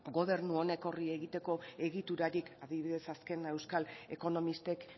gobernu honek horri egiteko egiturarik adibidez azken euskal ekonomistek